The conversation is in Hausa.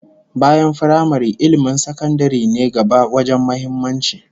Bayan firamare, ilmin sakandaren ne gaba wajen muhimmanci